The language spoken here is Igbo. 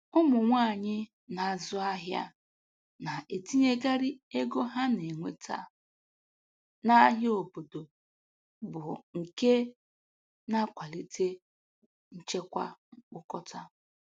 Ụmụ nwanyị na-azụ ahịa na-etinyekarị ego ha na-enweta n'ahịa obodo, bụ nke na-akwalite nchekwa mkpokọta